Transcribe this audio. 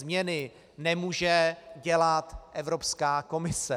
Změny nemůže dělat Evropská komise.